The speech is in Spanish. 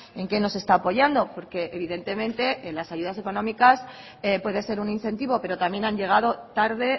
en qué nos está apoyando porque evidentemente en las ayudas económicas puede ser un incentivo pero también han llegado tarde